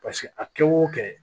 Paseke a kɛ o kɛ